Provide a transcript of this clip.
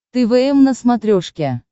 твм на смотрешке